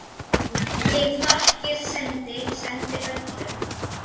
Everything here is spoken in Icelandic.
Ég þakkir sendi, sendi öllum.